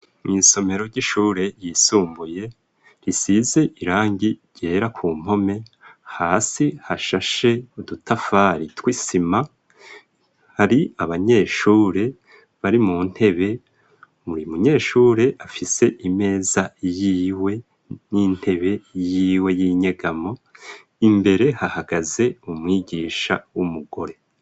Mw'isomero ry'ishure ryisumbuye, risize irangi ryera ku mpome, hasi hashashe udutafari tw'isima, hari abanyeshure bari mu ntebe. Buri munyeshure afise imeza yiwe n'intebe yiwe y'inyegamo. Imbere hahagaze umwigisha w'umugore.